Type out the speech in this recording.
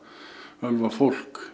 ölvað fólk